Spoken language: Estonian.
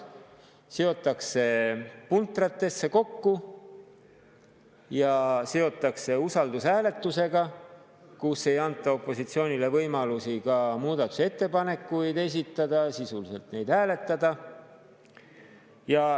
Need seotakse puntratesse kokku ja seotakse usaldushääletusega, kus ei anta opositsioonile võimalusi ka muudatusettepanekuid esitada ega neid sisuliselt hääletada.